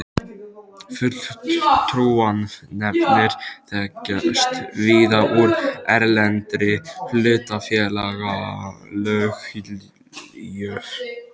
Fulltrúanefndir þekkjast víða úr erlendri hlutafélagalöggjöf.